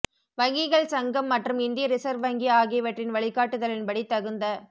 வங்கிகள் சங்கம் மற்றும் இந்திய ரிசர்வ் வங்கி ஆகியவற்றின் வழிகாட்டுதலின்படி தகுந்த